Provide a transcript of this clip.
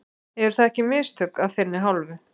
Eru það ekki mistök af þinni hálfu?